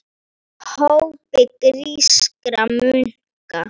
hópi grískra munka.